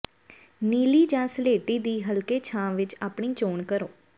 ਨੀਲੀ ਜਾਂ ਸਲੇਟੀ ਦੀ ਹਲਕੇ ਛਾਂ ਵਿੱਚ ਆਪਣੀ ਚੋਣ ਕਰੋ